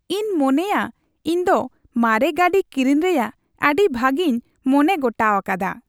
ᱤᱧ ᱢᱚᱱᱮᱭᱟ ᱤᱧ ᱫᱚ ᱢᱟᱨᱮ ᱜᱟᱹᱰᱤ ᱠᱤᱨᱤᱧ ᱨᱮᱭᱟᱜ ᱟᱹᱰᱤ ᱵᱷᱟᱜᱮᱧ ᱢᱚᱱᱮ ᱜᱚᱴᱟᱣᱟᱠᱟᱫᱟ ᱾